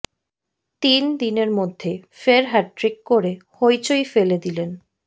তিন দিনের মধ্যে ফের হ্যাটট্রিক করে হইচই ফেলে দিলেন